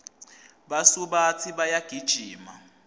basubatsi bayagijima